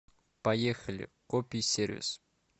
поехали кописервис